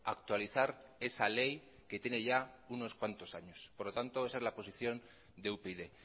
actualizar esa ley que tiene ya unos cuantos años por lo tanto esa es la posición de upyd